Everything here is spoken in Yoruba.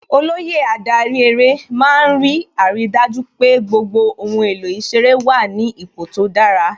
Olóyè adarí eré má ń rí àrídájú pé gbogbo ohun èlò ìṣeré wà ní ipò tó dára